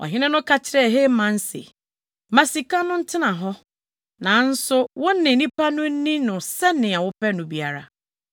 Ɔhene no ka kyerɛɛ Haman se, “Ma sika no ntena hɔ, nanso wo ne nnipa no nni no sɛnea wopɛ no biara.”